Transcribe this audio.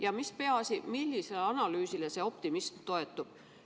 Ja mis peaasi, millisele analüüsile teie optimism toetub?